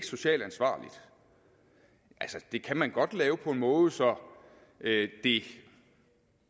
socialt ansvarligt det kan man godt lave på en måde så det det